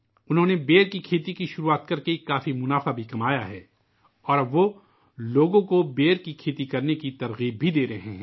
انہوں نے بیر کی کھیتی کی شروعات کرکے بہت زیادہ منافع بھی حاصل کیا ہے اور اب وہ لوگوں کو بیری کی کاشت کرنے کے لئے بھی تحریک دے رہے ہیں